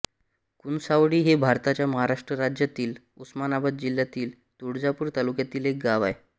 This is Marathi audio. कुणसावळी हे भारताच्या महाराष्ट्र राज्यातील उस्मानाबाद जिल्ह्यातील तुळजापूर तालुक्यातील एक गाव आहे